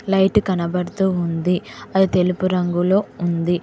Light కనబడుతూ ఉంది అది తెలుపు రంగులో ఉంది.